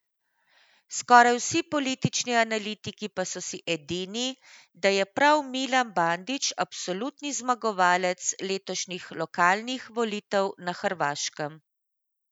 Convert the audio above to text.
Skoraj vsi politični analitiki pa so si edini, da je prav Milan Bandić absolutni zmagovalec letošnjih lokalnih volitev na Hrvaškem.